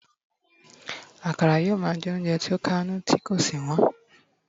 akara yíò ma je ounjẹ ti o kà inú ti ko sí wón